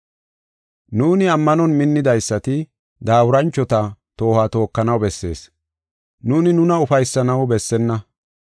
Nuuni ammanon minnidaysati daaburanchota toohuwa tookanaw bessees. Nuuni nuna ufaysanaw bessenna.